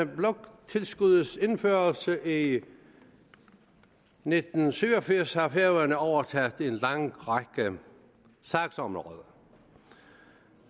bloktilskuddets indførelse i nitten syv og firs har færøerne overtaget en lang række sagsområder